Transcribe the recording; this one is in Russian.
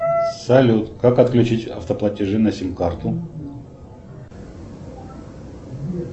салют как отключить автоплатежи на симкарту